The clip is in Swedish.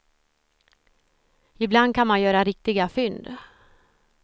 Ibland kan man göra riktiga fynd.